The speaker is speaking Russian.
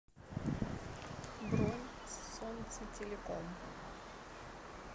бронь солнцетелеком